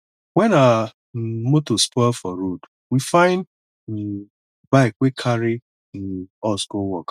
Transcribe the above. wen our um motor spoil for road we find um bike wey carry um us go work